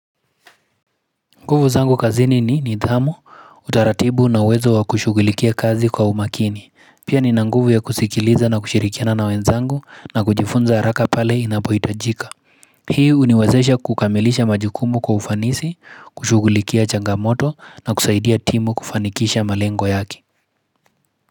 Nguvu zangu kazini ni nidhamu, utaratibu na wezo wa kushugulikia kazi kwa umakini. Pia ni nanguvu ya kusikiliza na kushirikina na wenzangu na kujifunza haraka pale inapoyitajika. Hii uniwezesha kukamilisha majikumu kwa ufanisi, kushugulikia changamoto na kusaidia timu kufanikisha malengo yake.